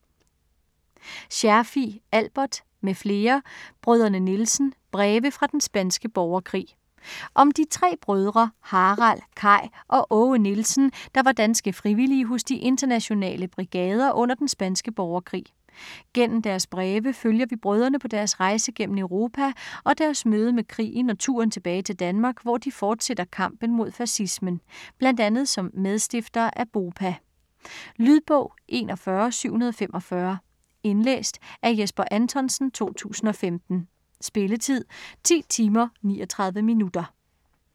Scherfig, Albert m.fl: Brødrene Nielsen: breve fra den spanske borgerkrig Om de tre brødre Harald, Kai og Aage Nielsen der var danske frivillige hos de Internationale Brigader under den spanske borgerkrig. Gennem deres breve følger vi brødrene på deres rejse gennem Europa og deres møde med krigen og turen tilbage til Danmark, hvor de fortsætter kampen mod fascismen, bl.a. som medstiftere af BOPA. Lydbog 41745 Indlæst af Jesper Anthonsen, 2015. Spilletid: 10 timer, 39 minutter.